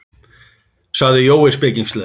sagði Jói spekingslega.